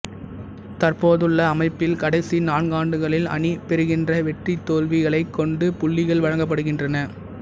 தற்போதுள்ள அமைப்பில் கடைசி நான்காண்டுகளில் அணி பெறுகின்ற வெற்றிதோல்விகளைக் கொண்டு புள்ளிகள் வழங்கபடுகின்றன